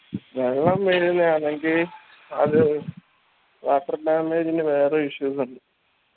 വെള്ളം വീഴ്‌ന്നെ ആന്നെങ്കി അത് water damage ന് വേറെ issues ഉണ്ട്